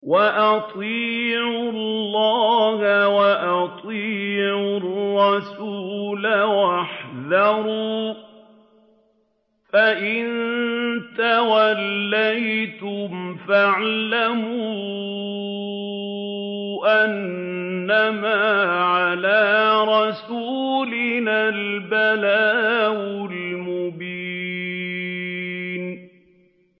وَأَطِيعُوا اللَّهَ وَأَطِيعُوا الرَّسُولَ وَاحْذَرُوا ۚ فَإِن تَوَلَّيْتُمْ فَاعْلَمُوا أَنَّمَا عَلَىٰ رَسُولِنَا الْبَلَاغُ الْمُبِينُ